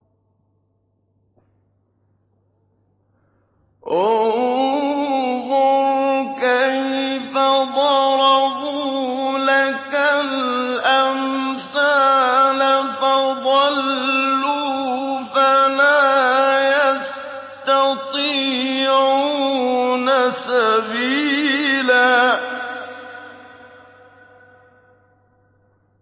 انظُرْ كَيْفَ ضَرَبُوا لَكَ الْأَمْثَالَ فَضَلُّوا فَلَا يَسْتَطِيعُونَ سَبِيلًا